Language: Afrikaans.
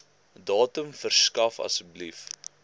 datum verskaf asseblief